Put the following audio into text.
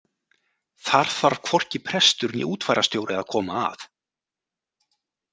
Þar þarf hvorki prestur né útfararstjóri að koma að.